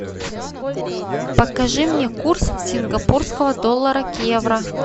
покажи мне курс сингапурского доллара к евро